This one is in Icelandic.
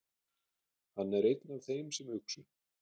Hann er einn af þeim sem uxu.